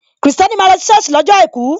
Kristẹni máa ń lọ si soosi lọ́jọ́ àìkú.